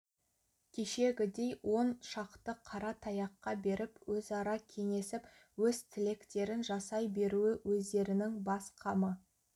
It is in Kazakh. кешегідей он шақты қара таяққа беріп өзара кеңесіп өз тілектерін жасай беруі өздерінің бас қамы